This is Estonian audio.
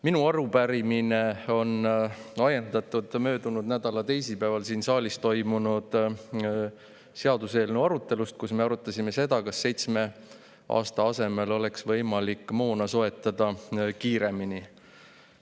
Minu arupärimine on ajendatud möödunud nädala teisipäeval siin saalis toimunud seaduseelnõu arutelust, kus me arutasime seda, kas seitsme aasta asemel oleks võimalik moona soetada kiiremini.